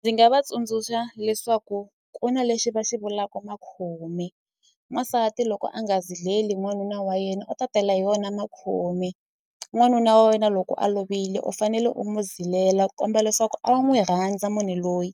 Ndzi nga va tsundzuxa leswaku ku na lexi va xi vulaku makhomi n'wansati loko a nga zileli n'wanuna wa yena u ta tela hi wona makhumi n'wanuna wa wena loko a lovile u fanele u mu zilela komba leswaku a wu n'wi rhandza munhu loyi